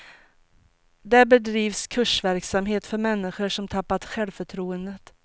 Där bedrivs kursverksamhet för människor som tappat självförtroendet.